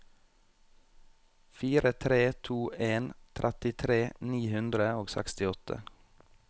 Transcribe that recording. fire tre to en trettitre ni hundre og sekstiåtte